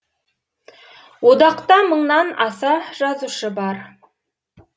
одақта мыңнан аса жазушы бар